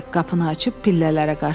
Qapını açıb pillələrə qaçdı.